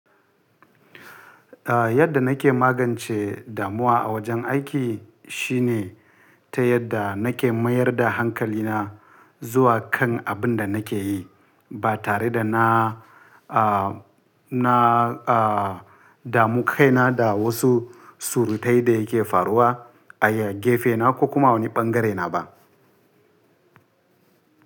Yadda nake magance damuwa a wajen aiki shine ta yadda nake mayar da hankalina zuwa kan abin da nake yi ba tare da na, na, damu kaina da wasu surutai da yake faruwa a gefena ko kuma a wani bangarena ba.